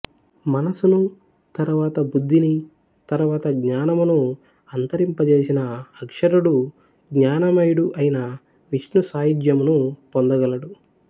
మనసును తరువాత బుద్ధిని తరువాత జ్ఞానమును అంతరింపజేసిన అక్షరుడు జ్ఞానమయుడు అయిన విష్ణుసాయుజ్యమును పొందగలడు